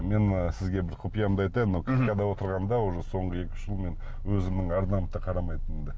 мен сізге бір құпиямды айтайын мхм отырғанда уже соңғы екі үш жыл мен өзімнің арнамды да қарамайтынмын да